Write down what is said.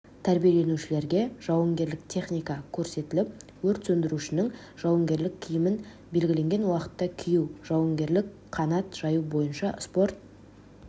тәрбиеленушілерге жауынгерлік техника көрсетіліп өрт сөндірушінің жауынгерлік киімін белгіленген уақытта кию жауынгерлік қанат жаю бойынша спорт